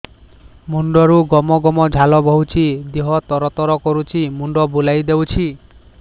ମୁଣ୍ଡରୁ ଗମ ଗମ ଝାଳ ବହୁଛି ଦିହ ତର ତର କରୁଛି ମୁଣ୍ଡ ବୁଲାଇ ଦେଉଛି